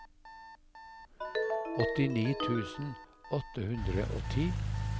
åttini tusen åtte hundre og ti